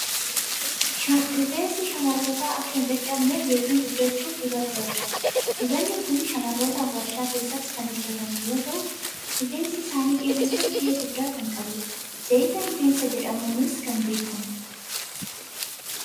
Rifeensi shamarrootaa akka hin caccabneef yookiin guddachuuf dibata barbaada. Dibatni kun shamarrootaaf waarshaa keessatti kan hojjetame yoo ta'u, rifeensa isaanii dheeressuuf gahee guddaa kan qabudha. Zayita rifeensaa jedhamuunis kan beekamudha.